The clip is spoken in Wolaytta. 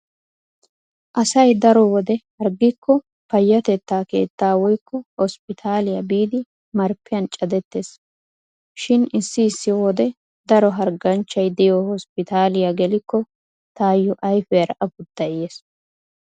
Asay daro wode harggikko payyatetta keettaa woykko hosppitaaliya biidi marppiyan cadettees. Shin issi issi wode daro hargganchchay diyo hosppitaaliya gelikko taayyo ayfiyaara afuttay yees.